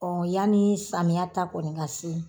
yani samiya ta kɔni ka se